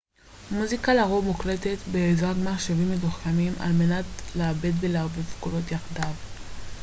מוזיקה לרוב מוקלטת בעזרת מחשבים מתוחכמים על מנת לעבד ולערבב קולות יחדיו